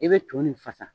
I bɛ to nin fasa